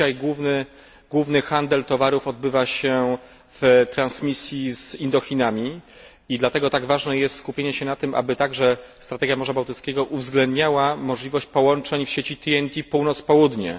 Obecnie główny handel towarów odbywa się z Indochinami i dlatego tak ważne jest skupienie się na tym, aby także strategia Morza Bałtyckiego uwzględniała możliwość połączeń w sieci TNT Północ Południe.